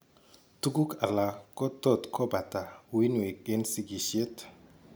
Tuguk alak ko tot kobata uinwek en sigishet